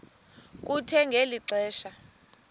kuthe ngeli xesha